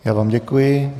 Já vám děkuji.